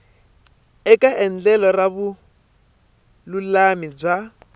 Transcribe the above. eka endlelo ra vululami bya